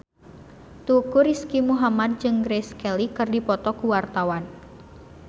Teuku Rizky Muhammad jeung Grace Kelly keur dipoto ku wartawan